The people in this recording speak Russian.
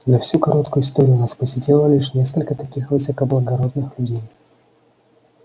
за всю короткую историю нас посетило лишь несколько таких высокоблагородных людей